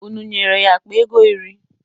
Unu nyere ya akpa ego iri?